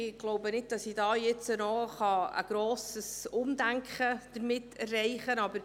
Ich glaube nicht, dass ich damit hier noch ein grosses Umdenken erreichen kann.